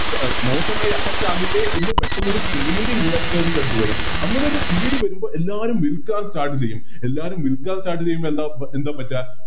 ശ മോശമായൊരു Affect ആകില്ലേ എന്ന് പെട്ടന്നൊരു പേടി Investors ൻറെടൂത്ത് വരും അങ്ങനെയൊരു പേടി വരുമ്പോൾ എല്ലാരും Start ചെയ്യും എല്ലാരും Start ചെയ്യുമ്പോ എന്താ എന്താ പാറ്റ